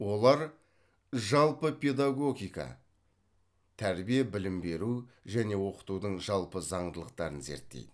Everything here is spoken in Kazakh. олар жалпы педагогика тәрбие білім беру және оқытудың жалпы заңдылықтарын зерттейді